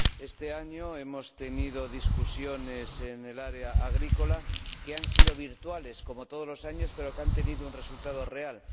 Este año hemos tenido discusiones en el área agrícola que han sido virtuales, como todos los años, pero que han tenido un resultado real.